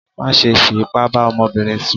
Má ṣe fi ipá bá ọmọbìnrin sùn